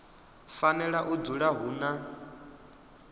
fanela u dzula hu na